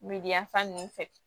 Miliyɔn fan ninnu fɛ